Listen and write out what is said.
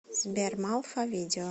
сбер малфа видео